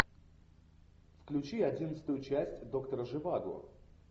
включи одиннадцатую часть доктора живаго